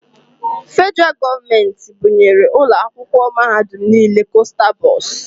Federaal gọọmenti bunyere ụlọ akwụkwọ mahadum nile kosta bọs.